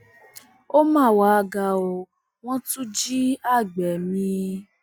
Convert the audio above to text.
ó mà wàá ga o wọn tún jí àgbẹ mi